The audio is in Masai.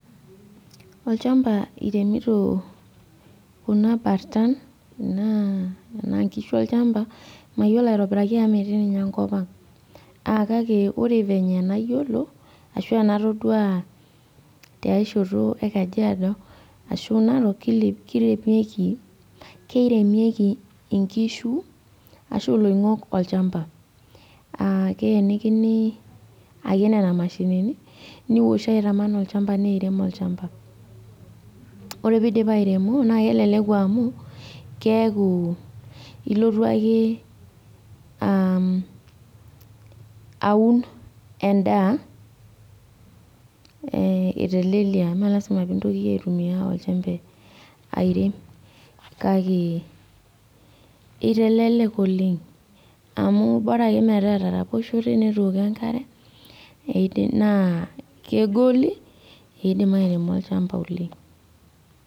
Olchamba iremito kuna bartan naa enaa inkishu olchamba mayiolo aitobiraki amu metii ninye enkop ang akake ore venye enayiolo ashu enatodua tiae shoto e kajiado ashu narok kile kirepieki keiremieki inkishu ashu iloing'ok olchamba uh keyenikini ake nena mashinini niwoshoo aitaman olchamba neirem olchamba ore peidip airemo naa keleleku amu keeku ilotu ake uh aun endaa eh etelelia mee lasima pintoki aitumia olchembe airem kake itelelek oleng amu bora ake metaa etaroposhote netooko enkare eidi naa kegoli ekeidim airemo olchamba oleng.